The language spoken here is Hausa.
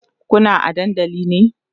Kuna a dandali ne?